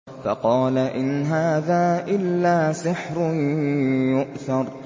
فَقَالَ إِنْ هَٰذَا إِلَّا سِحْرٌ يُؤْثَرُ